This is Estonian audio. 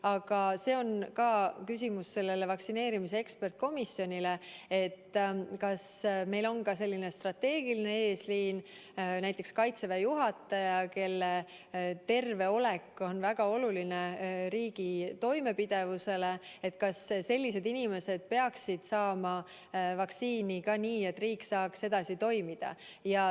Aga see on ka küsimus vaktsineerimise eksperdikomisjonile, et kas meil on ka selline strateegiline eesliin, näiteks Kaitseväe juhataja, kelle terve olek on väga oluline riigi toimepidevuse tagamisel, ja kas sellised inimesed peaksid saama vaktsiini, nii et riik saaks edasi toimida.